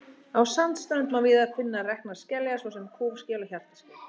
Á sandströnd má víða finna reknar skeljar, svo sem kúfskel og hjartaskel.